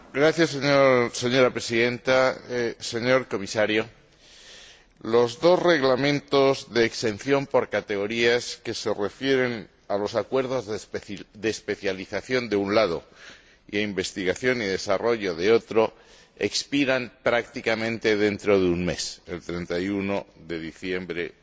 Señora Presidenta, señor Comisario, los dos Reglamentos de exención por categorías que se refieren a los acuerdos de especialización, por una parte, y de investigación y desarrollo, por otra, expiran prácticamente dentro de un mes, el 31 de diciembre de este año.